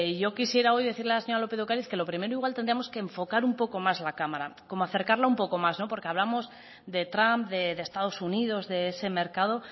yo quisiera hoy decir a la señora lópez de ocariz que lo primero igual tendríamos que enfocar un poco más la cámara como acercarla un poco más porque hablamos de trump de estados unidos de ese mercado